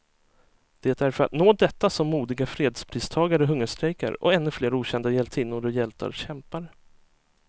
Det är för att nå detta som modiga fredspristagare hungerstrejkar, och ännu flera okända hjältinnor och hjältar kämpar.